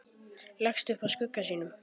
Leggst upp að skugga sínum.